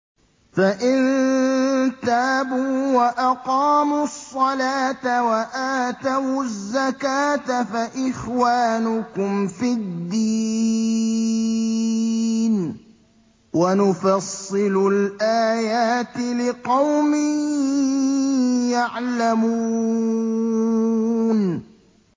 فَإِن تَابُوا وَأَقَامُوا الصَّلَاةَ وَآتَوُا الزَّكَاةَ فَإِخْوَانُكُمْ فِي الدِّينِ ۗ وَنُفَصِّلُ الْآيَاتِ لِقَوْمٍ يَعْلَمُونَ